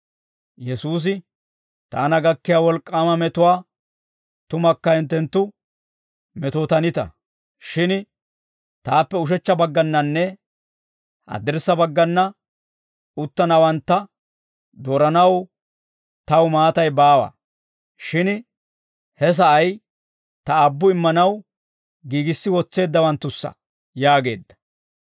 Yesuusi, «Taana gakkiyaa wolk'k'aama metuwaa tumakka hinttenttu metootanita; shin taappe ushechcha baggannanne haddirssa baggana uttanawantta dooranaw taw maatay baawa; shin he sa'ay ta Aabbu immanaw giigissi wotseeddawanttussa» yaageedda.